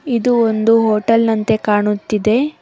ಇದು ಒಂದು ಹೋಟೆಲ್ ನಂತೆ ಕಾಣುತ್ತಿದೆ.